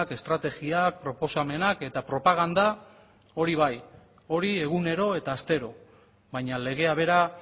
estrategiak proposamenak eta propaganda hori bai hori egunero eta astero baina legea bera